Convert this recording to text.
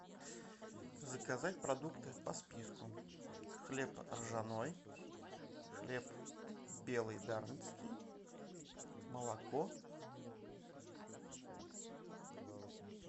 заказать продукты по списку хлеб ржаной хлеб белый дарницкий молоко